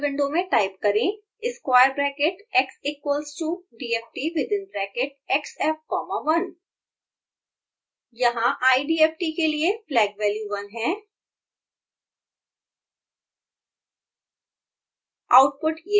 scilab console window में type करें squarebracket x equals to dft within bracket xf comma 1 यहाँ idft के लिए flag value 1 है